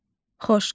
Xoş gördük.